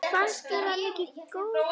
Fannst þér hann góð kaup?